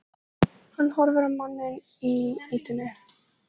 Hann horfir á manninn í ýtunni.